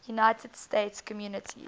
united states communities